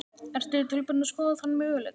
Ertu tilbúin að skoða þann möguleika?